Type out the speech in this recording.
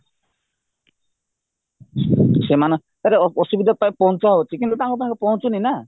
ସେମାନଙ୍କ ଆରେ ଅସୁବିଧାତ ପହଞ୍ଚା ହଉଚି କିନ୍ତୁ ତାଙ୍କ ପାଖେ ପହଁଞ୍ଚୁ ନି ନା